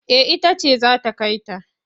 Eh ita ce za ta kai ta.